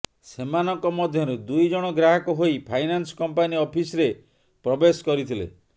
ସେମାନଙ୍କ ମଧ୍ୟରୁ ଦୁଇ ଜଣ ଗ୍ରାହକ ହୋଇ ଫାଇନାନ୍ସ କମ୍ପାନୀ ଅଫିସରେ ପ୍ରବେଶ କରିଥିଲେ